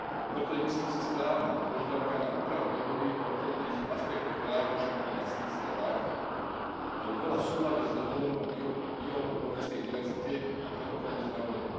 Preto je, myslím si, správna požiadavka na úpravu dohody o obchodných aspektoch práv duševného vlastníctva tak, aby bola v súlade s dohovorom o biologickej diverzite a protokolom z Nagoje.